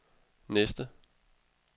næste